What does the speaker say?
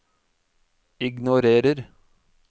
ignorer